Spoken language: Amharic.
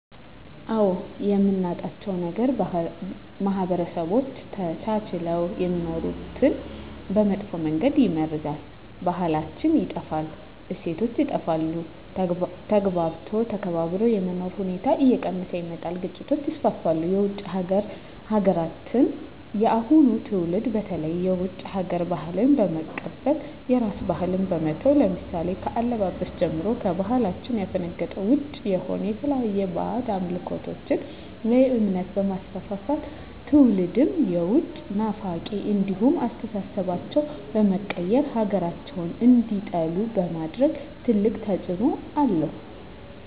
አዎ የምናጣው ነገር ማህበረሰቦች ተቻችለው የሚኖሩትን በመጥፎ መንገድ ይመርዛል , ባህላችን ይጠፋል, እሴቶች ይጠፋሉ, ተግባብቶ ተከባብሮ የመኖር ሁኔታዎች እየቀነሰ ይመጣል ግጭቶች ይስፋፋሉ። የውጭ ሀገራትን የአሁኑ ትውልድ በተለይ የውጭ ሀገር ባህልን በመቀበል የራስን ባህል በመተው ለምሳሌ ከአለባበስ ጀምሮ ከባህላችን ያፈነገጠ ውጭ የሆነ የተለያዩ ባህድ አምልኮቶችን ወይም እምነት በማስፋፋት ትውልድም የውጭ ናፋቂ እንዲሆኑ አስተሳሰባቸው በመቀየር ሀገራቸውን እንዲጠሉ በማድረግ ትልቅ ተፅዕኖ አለው።